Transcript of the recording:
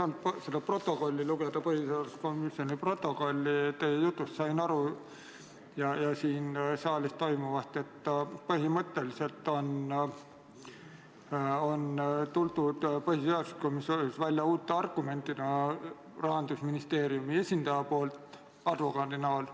Ma ei ole küll saanud seda põhiseaduskomisjoni protokolli lugeda, aga teie jutust ja siin saalis toimuvast sain aru, et põhimõtteliselt on põhiseaduskomisjonis tuldud välja uute argumentidega, mille on esitanud Rahandusministeeriumi esindaja, kelleks on advokaat,